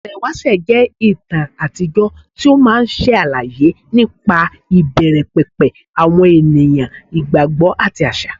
Ìtàn ìwáṣẹ̀ jẹ́ ìtàn àtijọ́ tí ó máa ń ṣàlàyé nípa ìbẹ̀rẹ̀ pẹ̀pẹ̀ àwọn ènìyàn, ìgbàgbọ́, àti àṣà.